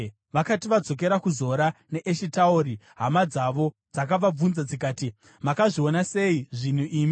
Vakati vadzokera kuZora neEshitaori, hama dzavo dzakavabvunza dzikati, “Makazviona sei zvinhu imi?”